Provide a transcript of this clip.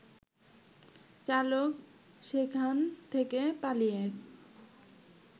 চালক সেখান থেকে পালিয়ে